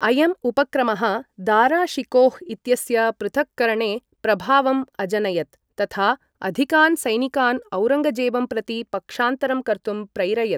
अयम् उपक्रमः दारा शिकोह् इत्यस्य पृथक्करणे प्रभावम् अजनयत्, तथा अधिकान् सैनिकान् औरङ्गजेबं प्रति पक्षान्तरं कर्तुं प्रैरयत्।